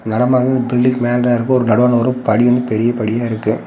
நடமாடும் பில்டிங் மேல இருக்கு ஒரு நடுவால படி வந்து பெரிய படியா இருக்கு.